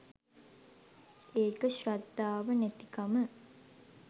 ඒක ශ්‍රද්ධාව නැතිකම